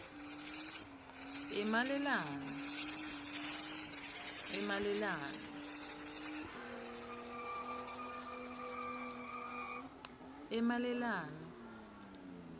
emalelane